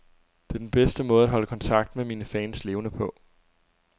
Det er den bedste måde at holde kontakten med mine fans levende på.